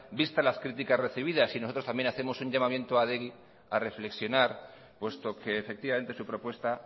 vistas las críticas recibidas y nosotros también hacemos un llamamiento a adegi a reflexionar puesto que efectivamente su propuesta